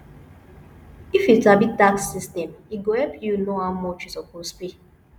if you sabi tax system e go help you know how much you suppose pay